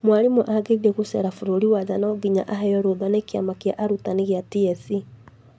Mwarimũ agĩthiĩ gũcera bũrũri wa nja no nginya aheo rũtha nĩ Kĩama gĩa arutani gĩa TSC